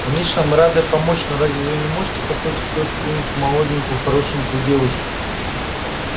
конечно мы рады помочь но разве вы не можете посадить в киоск какую-нибудь молоденькую хорошенькую девушку